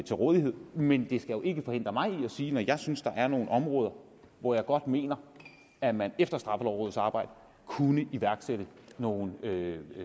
til rådighed men det skal jo ikke forhindre mig i at sige det når jeg synes der er nogle områder hvor jeg godt mener at man efter straffelovrådets arbejde kunne iværksætte nogle